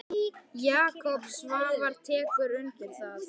Jakob Svavar tekur undir það.